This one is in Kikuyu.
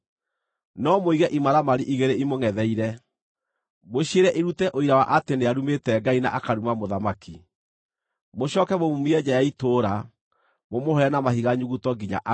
No mũige imaramari igĩrĩ imũngʼetheire, mũciĩre irute ũira wa atĩ nĩarumĩte Ngai na akaruma mũthamaki. Mũcooke mũmuumie nja ya itũũra mũmũhũre na mahiga nyuguto nginya akue.”